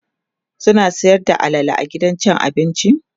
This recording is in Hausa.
suna Sayar da alala a gidan abincin?